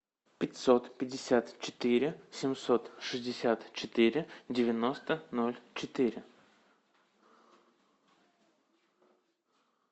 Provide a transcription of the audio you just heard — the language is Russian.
пятьсот пятьдесят четыре семьсот шестьдесят четыре девяносто ноль четыре